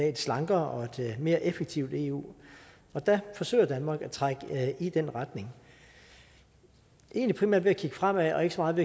et slankere og mere effektivt eu der forsøger danmark at trække i den retning egentlig primært ved at kigge fremad og ikke så meget